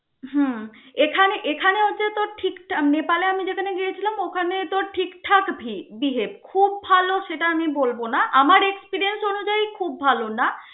হুম এখানে এখানে হচ্ছে তোর ঠিক টা~ নেপালে আমি যেখানে গিয়েছিলাম ওখানে তোর ঠিকঠাক be~ behave খুব ভাল সেটা আমি বলব না. আমার experience অনুযায়ী খুব ভাল না.